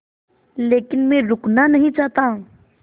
लेकिन मैं रुकना नहीं चाहता